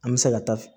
An bɛ se ka taa